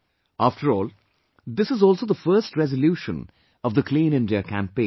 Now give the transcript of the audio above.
After all, this is also the first resolution of the Clean India campaign